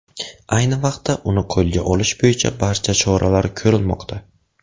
Ayni vaqtda uni qo‘lga olish bo‘yicha barcha choralar ko‘rilmoqda.